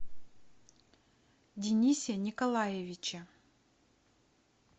денисе николаевиче